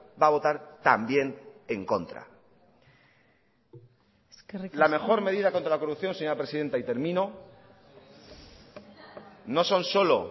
va a votar también en contra la mejor medida contra la corrupción señora presidenta y termino no son solo